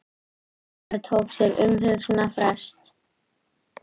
Dómari tók sér umhugsunarfrest